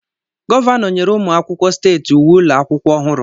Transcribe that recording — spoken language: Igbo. Gọvanọ nyere ụmụ akwụkwọ steeti uwe ụlọ akwụkwọ ọhụrụ.